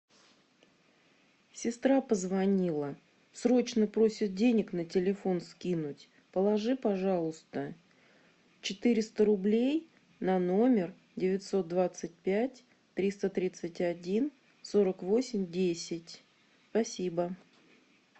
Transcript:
сестра позвонила срочно просит денег на телефон скинуть положи пожалуйста четыреста рублей на номер девятьсот двадцать пять триста тридцать один сорок восемь десять спасибо